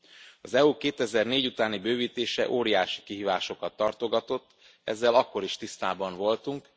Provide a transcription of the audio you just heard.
Az EU 2004 utáni bővítése óriási kihívásokat tartogatott, ezzel akkor is tisztában voltunk.